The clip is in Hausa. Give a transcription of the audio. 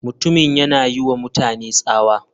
Mutumin yana yiwa mutane tsawa.